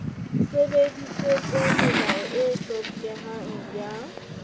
sebedisitse melao e hlokehang ya